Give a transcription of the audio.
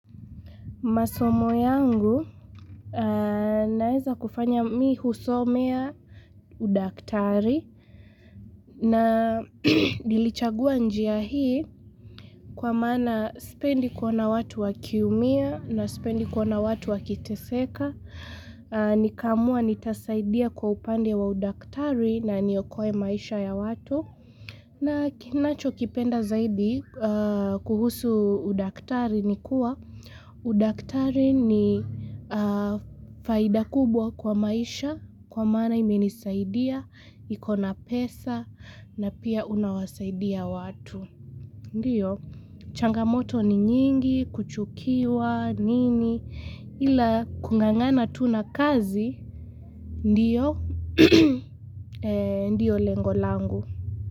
Masomo yangu naeza kufanya mimi husomea udaktari na nilichagua njia hii kwa maana siupendi kona watu wakiumia na sipendi kuona watu wakiteseka. Nikaamua nitasaidia kwa upande wa udaktari na niokoe maisha ya watu. Na kinachokipenda zaidi kuhusu udaktari ni kuwa, udaktari ni faida kubwa kwa maisha kwa maana imenisaidia, ikona pesa na pia unawasaidia watu. Ndiyo, changamoto ni nyingi, kuchukiwa, nini, ila kungangana tu na kazi, ndiyo, ndiyo lengo langu.